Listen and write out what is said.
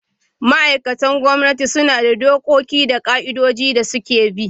Ma'aikatan gwamnati suna da dokoki da ka'idojin da suke bi.